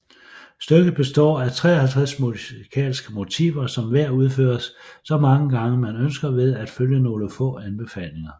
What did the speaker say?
Stykket består af 53 musikalske motiver som hver udføres så mange gange man ønsker ved at følge nogle få anbefalinger